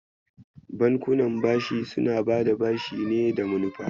Bankuna bashi suna bada bashi ne da manufa.